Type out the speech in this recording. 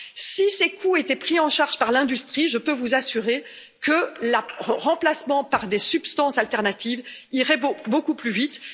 Si ces coûts étaient pris en charge par l'industrie, je peux vous assurer que le remplacement par des substances alternatives irait beaucoup plus vite.